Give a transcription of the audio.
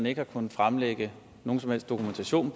ikke har kunnet fremlægge nogen som helst dokumentation